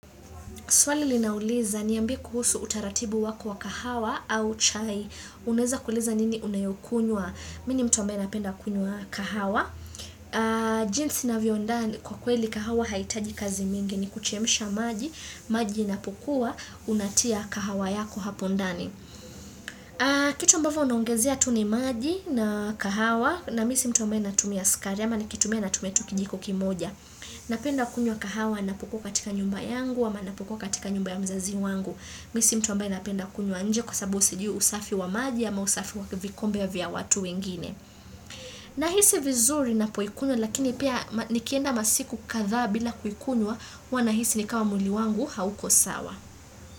Swali linauliza niambie kuhusu utaratibu wako wa kahawa au chai. Unaeza kuuliza nini unayokunywa? Mimi ni mtu ambaye napenda kunywa kahawa. Jinsi navyo andaa ni kwa kweli kahawa haitaji kazi mingi ni kuchemsha maji. Maji inapokuwa, unatia kahawa yako hapo ndani. Kitu ambavyo unongezea tuu ni maji na kahawa na mimi si mtu ambaye natumia skari ama nikitumia natumia tuu kijiko kimoja. Napenda kunywa kahawa napokuwa katika nyumba yangu ama napokuwa katika nyumba ya mzazi wangu, mimi si mtu ambaye napenda kunywa nje kwa sababu sijui usafi wa maji ama usafi wa kivikombe ya vya watu wengine Nahisi vizuri napoikunywa lakini pia nikienda masiku kadhaa bila kuikunywa huwa nahisi ni kama mwili wangu hauko sawa.